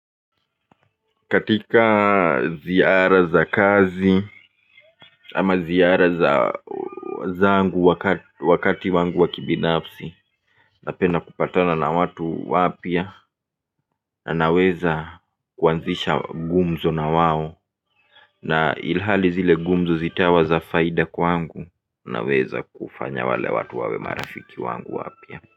Katika ziara za kazi ama ziara za zangu wakati wangu wa kibinafsi. Napenda kupatana na watu wapya na naweza kuanzisha gumzo na wawo na ilhali zile gumzo zitawa za faida kwangu na weza kufanya wale watu wawe marafiki wangu wapya.